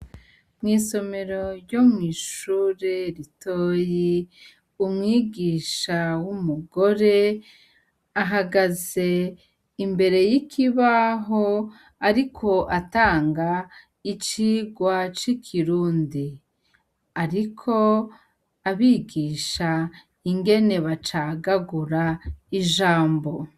Mw'isomero ryo mw'ishure ritoya , umwigisha w'umugore, ahagaze imbere y' ikibaho ariko atanga icirwa c' ikirundi; ariko abigisha ingene bacagagura ijambo.